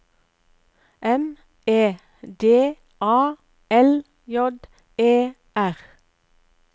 M E D A L J E R